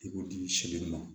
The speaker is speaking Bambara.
I b'o di se joli ma